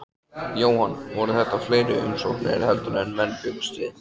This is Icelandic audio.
Jóhann, voru þetta fleiri umsóknir heldur en menn bjuggust við?